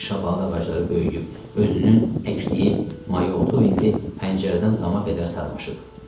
Həyətdəki şabalıd ağacları böyüyüb, özünün əkdiyi mayaotu indi pəncərədən dama qədər sarmaşıb.